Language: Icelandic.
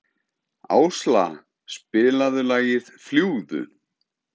Ásla, spilaðu lagið „Fljúgðu“.